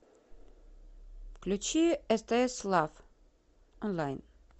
включи стс лав онлайн